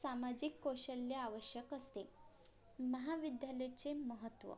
सामाजिक कौशल्य आवश्यक असते महाविद्यालयाचे महत्त्व